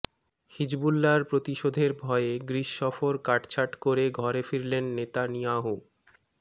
হিজবুল্লাহর প্রতিশোধের ভয়ে গ্রিস সফর কাটছাট করে ঘরে ফিরলেন নেতানিয়াহু